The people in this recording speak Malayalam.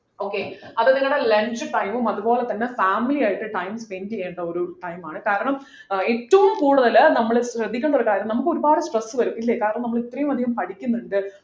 okay അത് നിങ്ങളുടെ lunch time ഉം അതുപോലെ തന്നെ family ആയിട്ട് time spend ചെയ്യേണ്ട ഒരു time ആണ് കാരണം ആഹ് ഏറ്റവും കൂടുതൽ നമ്മൾ ശ്രദ്ധിക്കണ്ട ഒരു കാര്യം നമുക്ക് ഒരുപാട് stress വരും ഇല്ലേ കാരണം നമ്മൾ ഇത്രയും അധികം പഠിക്കുന്നുണ്ട്